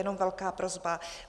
Jenom velká prosba.